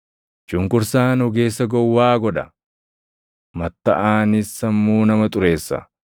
Cunqursaan ogeessa gowwaa godha; mattaʼaanis sammuu nama xureessa.